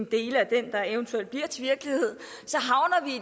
dele af den der eventuelt bliver til virkelighed